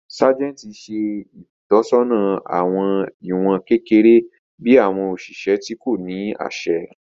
Sájẹ̀ntì ṣe ìtọ́sọ́nà àwọn ìwọ̀n kékeré bí àwọn òṣìṣẹ́ tí kò ní àṣẹ